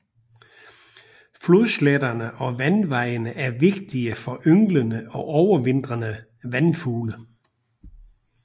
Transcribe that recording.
Flodsletterne og vandvejene er vigtige for ynglende og overvintrende vandfugle